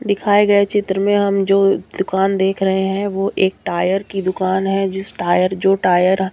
दिखाए गया चित्र में हम जो दुकान देख रहे हैं वो एक टायर की दुकान है जिस टायर जो टायर --